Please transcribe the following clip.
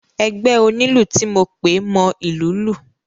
Ẹgbẹ́ onílù ti mo pè mọ ìlú lù.